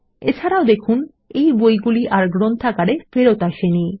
এছাড়াও দেখুন বইগুলি আর ফেরত আসেনি